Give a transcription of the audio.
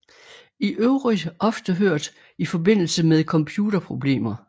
I øvrigt ofte hørt i forbindelse med computerproblemer